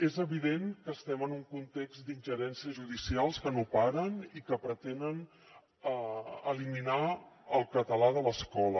és evident que estem en un context d’ingerències judicials que no paren i que pretenen eliminar el català de l’escola